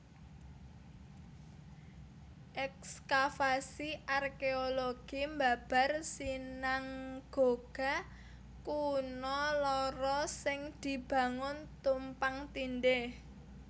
Èkskavasi arkéologi mbabar sinagoga kuna loro sing dibangun tumpang tindih